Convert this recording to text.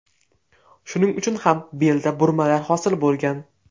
Shuning uchun ham belda burmalar hosil bo‘lgan.